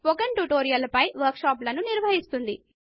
spoken tutorial ల పైన workshop లు నిర్వహిస్తుంది